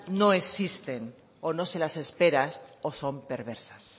no existen o no se las esperan o son perversas